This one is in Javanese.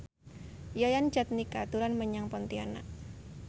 Yayan Jatnika dolan menyang Pontianak